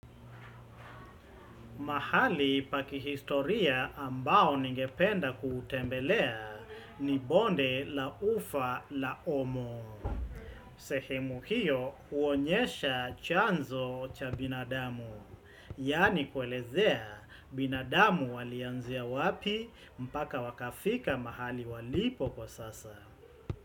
Mahali pa kihistoria ambao ningependa kuutembelea ni bonde la ufa la omo. Sehemu hiyo huonyesha chanzo cha binadamu. Yaani kuelezea binadamu walianzia wapi mpaka wakafika mahali walipo kwa sasa.